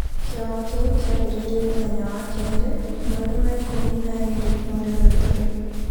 Kĩama kĩu kĩambĩrĩirie mũthenya wa kere, mweri wa ikũmi na ĩĩrĩ mweri ũyũ tũrĩ.